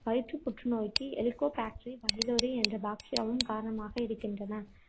வயிற்றுப் புற்றுநோய்க்கு helicobacter pylori என்ற bacteria வும் காரணமாக இருக்கின்றன